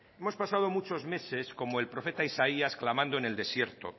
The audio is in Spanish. hemos pasado muchos meses como el profeta isaías clamando en el desierto